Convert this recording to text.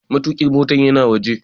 Matuƙin motar yana waje.